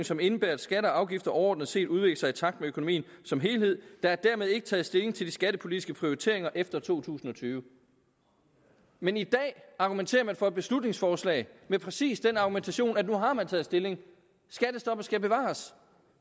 som indebærer at skatter og afgifter overordnet set udvikler sig i takt med økonomien som helhed der er dermed ikke taget stilling til de skattepolitiske prioriteringer efter to tusind og tyve men i dag argumenterer man for et beslutningsforslag med præcis den argumentation at nu har man taget stilling skattestoppet skal bevares